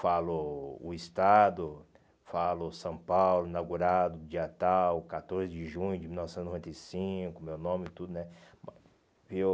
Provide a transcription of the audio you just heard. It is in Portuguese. Falo o estado, falo São Paulo, inaugurado, dia tal, catorze de junho de mil novecentos e noventa e cinco, meu nome e tudo, né? Bom